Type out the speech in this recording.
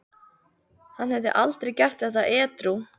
Hann hefði aldrei gert þetta edrú.